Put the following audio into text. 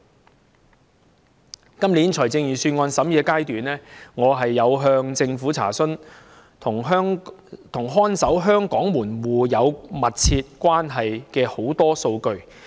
在今年財政預算案的審議階段，我曾向政府查詢多項與看守香港門戶有密切關係的數據。